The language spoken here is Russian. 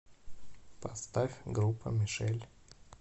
поставь группа мишель